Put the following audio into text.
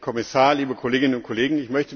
Herr Kommissar, liebe Kolleginnen und Kollegen!